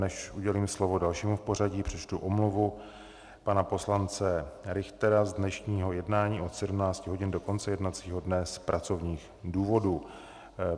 Než udělím slovo dalšímu v pořadí, přečtu omluvu pana poslance Richtera z dnešního jednání od 17 hodin do konce jednacího dne z pracovních důvodů.